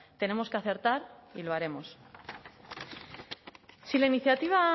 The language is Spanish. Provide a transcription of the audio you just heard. tenemos que acertar y lo haremos si la iniciativa